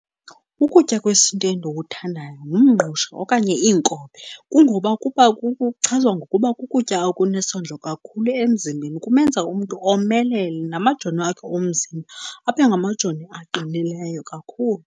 Ukutya kwesintu endikuthandayo ngumngqusho okanye iinkobe, kungoba kuchazwa ngokuba kukutya okunesondlo kakhulu emzimbeni. Kumenza umntu omelele namajoni akhe omzimba abe ngamajoni aqinileyo kakhulu.